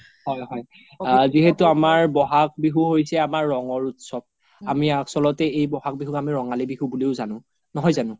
হয় হয় যিহেতু আমাৰ বহাগ বিহু হৈছে আমাৰ ৰংৰ উত্‍সৱ আমি আচ্ল্তে এই বহাগ বিহু আমি ৰঙালী বিহু বুলিও যানো নহয় যানো ?